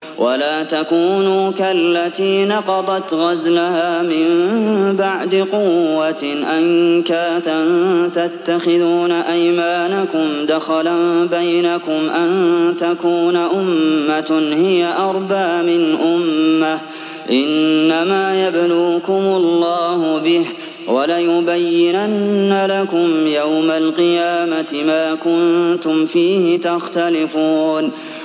وَلَا تَكُونُوا كَالَّتِي نَقَضَتْ غَزْلَهَا مِن بَعْدِ قُوَّةٍ أَنكَاثًا تَتَّخِذُونَ أَيْمَانَكُمْ دَخَلًا بَيْنَكُمْ أَن تَكُونَ أُمَّةٌ هِيَ أَرْبَىٰ مِنْ أُمَّةٍ ۚ إِنَّمَا يَبْلُوكُمُ اللَّهُ بِهِ ۚ وَلَيُبَيِّنَنَّ لَكُمْ يَوْمَ الْقِيَامَةِ مَا كُنتُمْ فِيهِ تَخْتَلِفُونَ